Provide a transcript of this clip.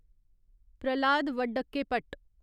Prahlad Vadakkepat